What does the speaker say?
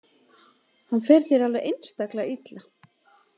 Hann fer þér alveg einstaklega illa.